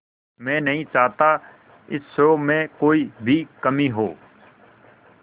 मैं नहीं चाहता इस शो में कोई भी कमी हो